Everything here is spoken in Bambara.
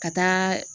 Ka taa